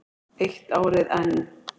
Eitt árið enn.